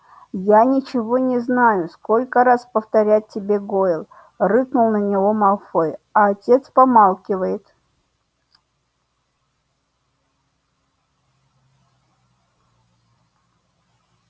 я ничего не знаю сколько раз повторять тебе гойл рыкнул на него малфой а отец помалкивает